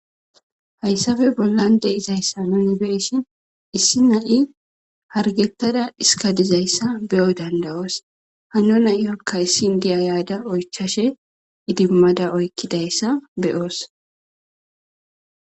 Haysappe bollan de'izaysa nuni beyishin issi naya hargetada dhiskaizaysa beyo dandayos hano na'iyoka issi haysappe bollan de'izaysa nuni beyishin indiya yada oychashe idimada oykidaysi beyosi